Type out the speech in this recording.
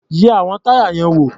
Yẹ àwọn táyà yẹn wò.